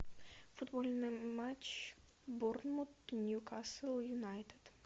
футбольный матч борнмут ньюкасл юнайтед